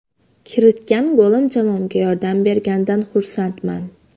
Kiritgan golim jamoamga yordam berganidan xursandman.